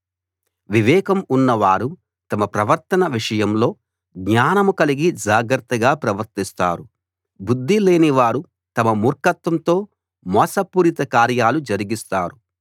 వివేకం ఉన్నవారు తమ ప్రవర్తన విషయంలో జ్ఞానం కలిగి జాగ్రత్తగా ప్రవర్తిస్తారు బుద్ధి లేనివారు తమ మూర్ఖత్వంతో మోసపూరిత కార్యాలు జరిగిస్తారు